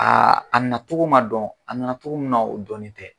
Aa a natogo ma dɔn, a nana togo min na o dɔnnen tɛ.